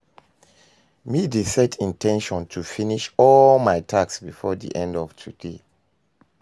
Me dey set in ten tion to finish all my tasks before di end of di day.